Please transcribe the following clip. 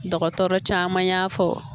Dɔgɔtɔrɔ caman y'a fɔ